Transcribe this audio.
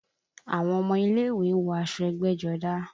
Àwọn ọmọ ilé ìwé ń wọ aṣọ ẹgbẹ́jọdá